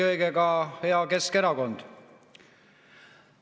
Ja eelkõige hea Keskerakond!